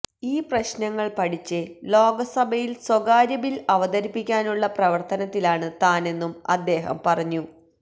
ഈ പ്രശ്നങ്ങള് പഠിച്ച് ലോകസഭയില് സ്വകാര്യ ബില് അവതരിപ്പിക്കാനുള്ള പ്രവര്ത്തനത്തിലാണ് താനെന്നും അദ്ദേഹം പറഞ്ഞു